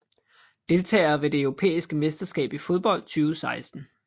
Deltagere ved det europæiske mesterskab i fodbold 2016